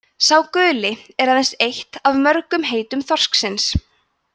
„sá guli“ er aðeins eitt af mörgum heitum þorsksins